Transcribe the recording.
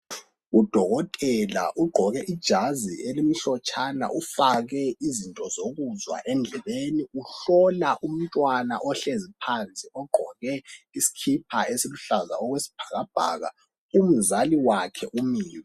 Udokotela ugqoke ijazi elimhlotshana ufake izinto zokuzwa endlebeni. Uhlola umntwana ohlezi phansi ogqoke isikipa esiluhlaza okwesibhakabhaka ,umzali wakhe umile.